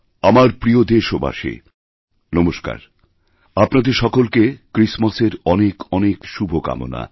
আমার প্রিয় দেশবাসী নমস্কার আপনাদের সকলকে ক্রিসমাসের অনেকঅনেক শুভকামনা